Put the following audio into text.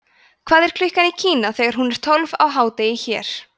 hvað er klukkan í kína þegar hún er tólf á hádegi hér